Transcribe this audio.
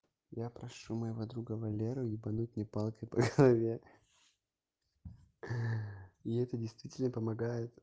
я прошу моего друга валеру ебануть мне палкой по голове и это действительно помогает